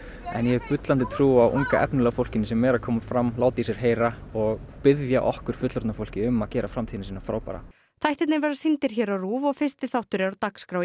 en ég hef bullandi trú á unga efnilega fólkinu sem er að koma fram láta í sér heyra og biðja okkur fullorðna fólkið um að gera framtíðina sína frábæra þættirnir verða sýndir hér á RÚV og fyrsti þáttur er á dagskrá í